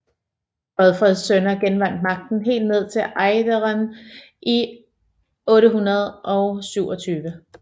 Godfreds sønner genvandt magten helt ned til Ejderen i 827